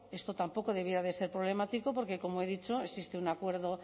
esto tampoco debiera de ser problemático porque como he dicho existe un acuerdo